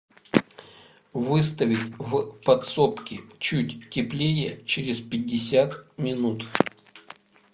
выставить в подсобке чуть теплее через пятьдесят минут